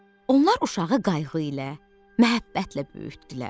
Onlar uşağı qayğı ilə, məhəbbətlə böyütdülər.